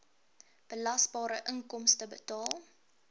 belasbare inkomste bepaal